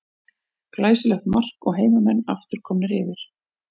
Glæsilegt mark og heimamenn aftur komnir yfir.